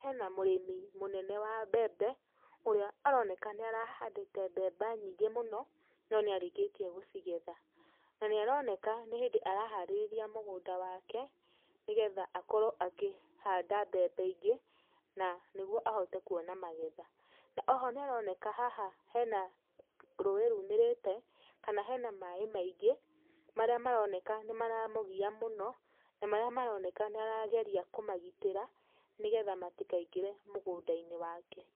Hena mũrĩmi mũnene wa mbembe, ũrĩa aroneka nĩ arahandĩte mbembe nyingĩ mũno no nĩarĩkĩtie gũcigetha. Na nĩaroneka nĩ hĩndĩ araharĩrĩria mũgũnda wake, nĩgetha akorwo akĩhanda mbembe ingĩ na nĩgwo ahote kwona magetha. Na oho nĩaroneka haha hena rũĩ rumĩrĩte, kana hena maaĩ maingĩ marĩa maroneka nĩmaramũgia mũno, na marĩa maroneka nĩ arageria kũmagitĩra nĩgetha matikaingĩre mũgũnda-inĩ wake.